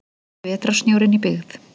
Fyrsti vetrarsnjórinn í byggð.